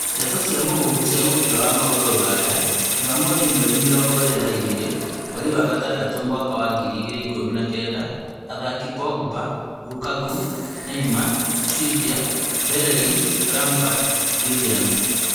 Ndeto cia mũhuhu cia mũbira wa magũrũ Rũraya juma mothi mweri mĩrongo ĩrĩ na igĩrĩ mweri wa gatandatũ mwaka wa ngiri igĩrĩ ikũmi na kenda athaki Pogba, Lukaku, Neymar, Trippier, Bellerin, Lampard, Willian